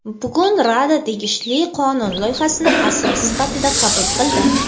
Bugun Rada tegishli qonun loyihasini asos sifatida qabul qildi.